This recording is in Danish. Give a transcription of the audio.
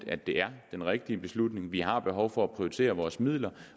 at det er den rigtige beslutning vi har behov for at prioritere vores midler